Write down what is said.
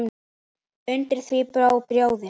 Undir því bjó bróðir